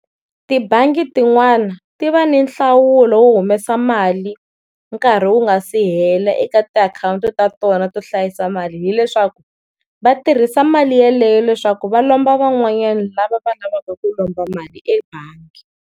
Tibangi tin'wana ti va ni nhlawulo wo humesa mali nkarhi wu nga se hela eka ti akhowunti ta kona to hlayisa mali hileswaku va tirhisa mali yaleyo leswaku va lomba van'wanyana lava va lavaka ku lomba mali ebangi.